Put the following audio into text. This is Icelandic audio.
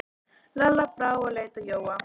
Lalla brá og leit á Jóa.